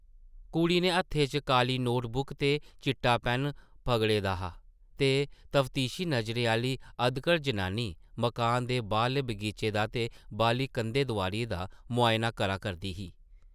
कुड़ी नै हत्थै च काली नोट-बुक ते चिट्टा पैन पगड़े दा हा ते तफतीशी नज़रें आह्ली अधकड़ जनानी मकान दे बाह्रले बगीचे दा ते बाह्रली कंधें-दोआरियें दा मुआयना करा करदी ही ।